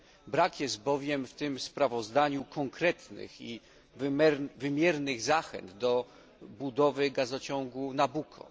Brak jest bowiem w tym sprawozdaniu konkretnych i wymiernych zachęt do budowy gazociągu Nabucco.